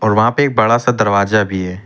वहां पे एक बड़ा सा दरवाजा भी है।